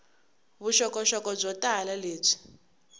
vuxokoxoko byo tala lebyi